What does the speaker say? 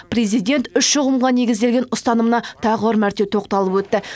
президент үш ұғымға негізделген ұстанымына тағы бір мәрте тоқталып өтті